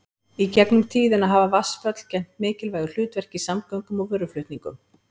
Í gegnum tíðina hafa vatnsföll gegnt mikilvægu hlutverki í samgöngum og vöruflutningum.